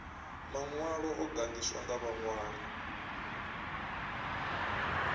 maṅwalo o gandiswaho nga vhaṅwali